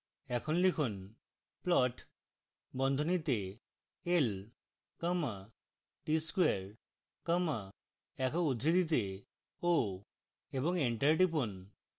এখন লিখুন